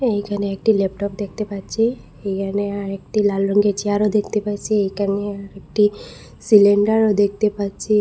এইখানে একটি ল্যাপটপ দেখতে পাচ্চি এইখানে আরেকটি লাল রঙের চেয়ারও দেখতে পাচ্চি এইখানে একটি সিলিন্ডারও দেখতে পাচ্চি।